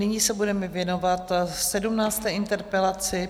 Nyní se budeme věnovat 17. interpelaci.